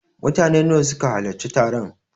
Mutane nawa ne suka halarci taron?